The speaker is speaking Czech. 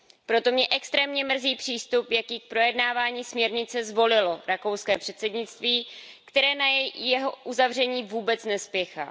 Proto mě extrémně mrzí přístup, jaký k projednávání směrnice zvolilo rakouské předsednictví, které na jeho uzavření vůbec nespěchá.